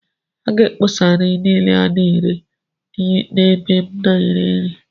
A ga-akpọsa nri niile a na-ere n'ebe m na-ere nri..